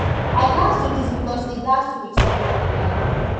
i gatz do dis becos e gatz do wit sombodi life